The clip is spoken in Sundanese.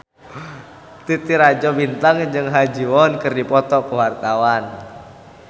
Titi Rajo Bintang jeung Ha Ji Won keur dipoto ku wartawan